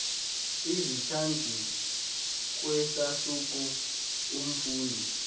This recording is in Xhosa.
izichazi kwisahluko umfundi